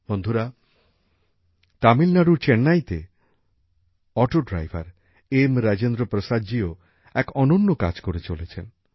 বন্ধুরা তামিলনাড়ুর চেন্নাইতে অটো ড্রাইভার এম রাজেন্দ্র প্রসাদজিও এক অনন্য কাজ করে চলেছেন